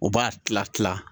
U b'a tila kila